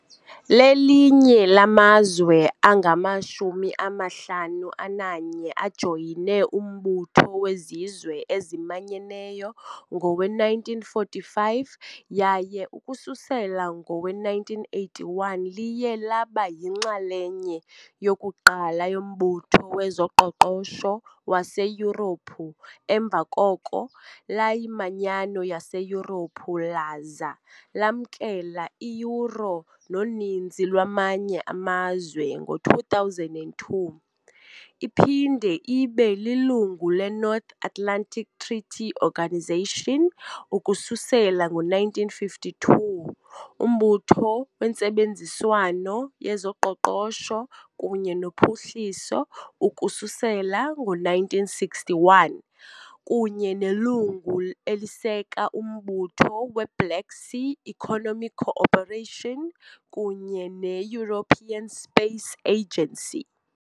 Lelinye lamazwe angama-51 ajoyine uMbutho weZizwe eziManyeneyo ngowe-1945 yaye ukususela ngowe-1981 liye laba yinxalenye yokuqala yoMbutho wezoQoqosho waseYurophu emva koko layiManyano yaseYurophu laza lamkela i- Euro noninzi lwamanye amazwe ngo-2002, iphinde ibe lilungu leNorth Atlantic Treaty Organisation ukususela ngo-1952, yoMbutho weNtsebenziswano yezoQoqosho kunye noPhuhliso ukususela ngo-1961, kunye nelungu eliseka uMbutho we-Black Sea Economic Cooperation kunye ne- European Space Agency.